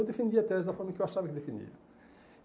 Eu defendi a tese da forma que eu achava que definia.